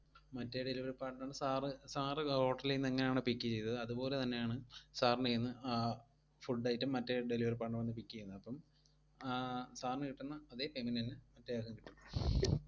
മറ്റെ delivery partner ന് sir, sir hotel ഈന്ന് എങ്ങനെയാണോ pick എയ്തത് അതുപോലെ തന്നയാണ് sir ന്റെ കൈയ്യിന്ന് ആ food item മറ്റെ delivery partner വന്ന് pick എയ്യുന്നത്, അപ്പം ആഹ് sir ന് കിട്ടുന്ന അതേ payment തന്നെ മറ്റേ ആൾക്കും കിട്ടും.